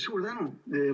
Suur tänu!